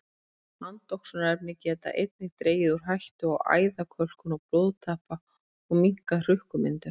Andoxunarefni geta einnig dregið úr hættu á æðakölkun og blóðtappa og minnkað hrukkumyndun.